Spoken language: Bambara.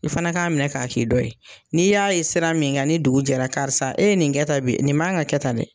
I fana k'a minɛ k'a k'i dɔ ye n'i y'a ye sira min kan ni dugu jɛra karisa e ye nin kɛ ta bi nin man ka kɛ tan dɛ.